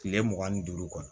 Kile mugan ni duuru kɔ